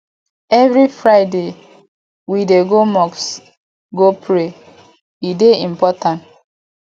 every friday we dey go mosque go pray e dey important